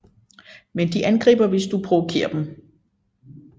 Men de angriber hvis du provokerer dem